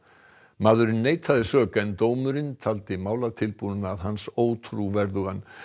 maðurinn neitaði sök en dómurinn taldi málatilbúnað hans ótrúverðugan